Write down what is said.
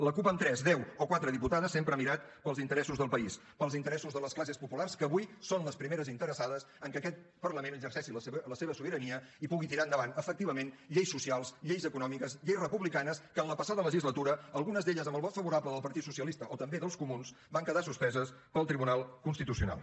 la cup amb tres deu o quatre diputades sempre ha mirat pels interessos del país pels interessos de les classes populars que avui són les primeres interessades en que aquest parlament exerceixi la seva sobirania i pugui tirar endavant efectivament lleis socials lleis econòmiques lleis republicanes que en la passada legislatura algunes d’elles amb el vot favorable del partit socialista o també dels comuns van quedar suspeses pel tribunal constitucional